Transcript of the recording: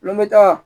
N bɛ taa